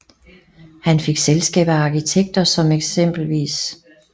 Han fik selskab af arkitekter som eks